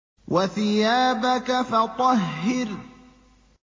وَثِيَابَكَ فَطَهِّرْ